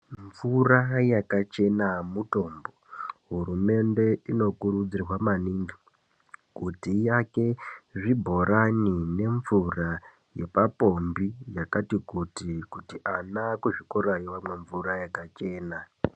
Mvura yakachena mutombo. Hurumende inokurudzirwa maningi kuti iake zvibhorani nemvura yepapombi yakati kuti, kuti ana kuzvikorayo amwe mvura yakachena.